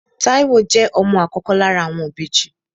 Táíwò jẹ́ ọmọ àkọ́kọ́ lára àwọn ìbejì